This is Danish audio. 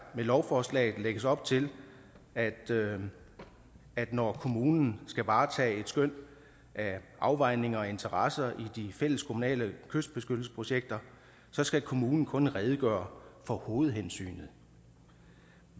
med lovforslaget lægges op til at at når kommunen skal varetage et skøn af afvejninger og interesser i de fælleskommunale kystbeskyttelsesprojekter så skal kommunen kun redegøre for hovedhensynet